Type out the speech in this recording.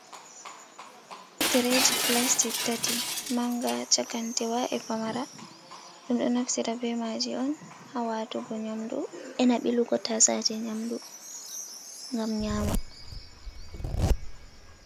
Tireji plastic tati, manga chakantewa e pamara, ɗum ɗo naftira be maji on, hawatugo nyamdu, enabilugo tatsaje nyamdu gam nyama.